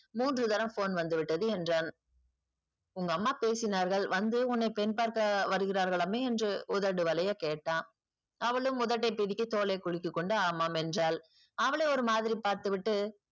மூன்று தடவ phone வந்து விட்டது என்றான். உங்க அம்மா பேசினார்கள் வந்து உன்னை பெண் பார்க்க வருகிறார்களாமே என்று உதடு வலிய கேட்டான். அவளும் உதட்டை பிதுக்கி தோளை சுருக்கிக்கொண்டு ஆமாம் என்றால் அவளை ஒருமாதிரி பார்த்துவிட்டு